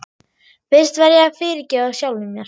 Fyrst verð ég að fyrirgefa sjálfum mér.